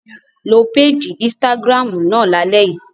Lo péèjì Instagram náà lálẹ́ yìí!